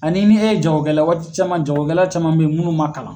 Ani ni e ye jagokɛla waati caman jagokɛla caman bɛ ye minnu man kalan.